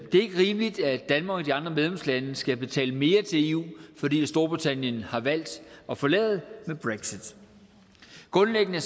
det er ikke rimeligt at danmark og de andre medlemslande skal betale mere til eu fordi storbritannien har valgt at forlade med brexit grundlæggende